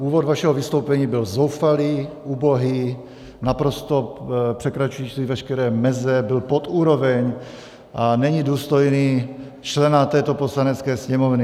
Úvod vašeho vystoupení byl zoufalý, ubohý, naprosto překračující veškeré meze, byl pod úroveň a není důstojný člena této Poslanecké sněmovny.